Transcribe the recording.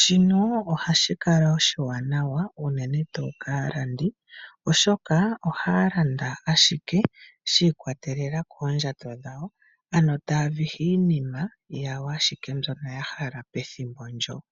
Shino ohashi kala oshiwanawa unene tuu kaalandi, oshoka ohaya landa ashike shi ikwatelela koondjato dhawo, ano taa vihi ashike iinima yawo mbyono ya hala pethimbo ndyoka.